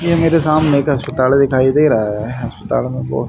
ये मेरे सामने एक अस्पताड़ दिखाई दे रहा है अस्पताड़ में बहुत--